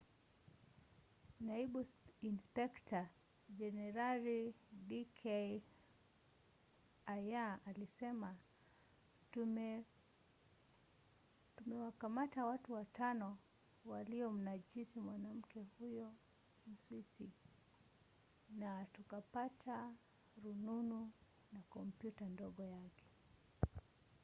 naibu inspekta jenerali d k arya alisema tumewakamata watu watano waliomnajisi mwanamke huyo mswisi na tukapata rununu na kompyuta ndogo yake.